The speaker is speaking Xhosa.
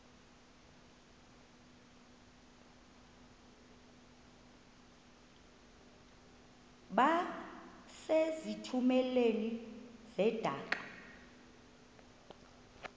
base zitulmeni zedaka